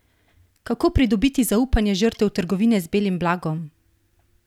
Kako pridobiti zaupanje žrtev trgovine z belim blagom?